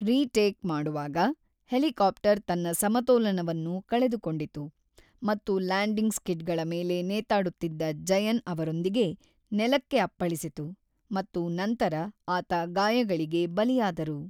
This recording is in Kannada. ರೀ-ಟೇಕ್ ಮಾಡುವಾಗ, ಹೆಲಿಕಾಪ್ಟರ್ ತನ್ನ ಸಮತೋಲನವನ್ನು ಕಳೆದುಕೊಂಡಿತು ಮತ್ತು ಲ್ಯಾಂಡಿಂಗ್ ಸ್ಕಿಡ್ಗಳ ಮೇಲೆ ನೇತಾಡುತ್ತಿದ್ದ ಜಯನ್ ಅವರೊಂದಿಗೆ ನೆಲಕ್ಕೆ ಅಪ್ಪಳಿಸಿತು, ಮತ್ತು ನಂತರ ಆತ ಗಾಯಗಳಿಗೆ ಬಲಿಯಾದರು.